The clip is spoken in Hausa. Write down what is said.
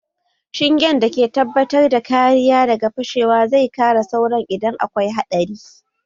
Shingen da ke tabbatar da kariya daga fashewa zai kare sauran idan akwai haɗari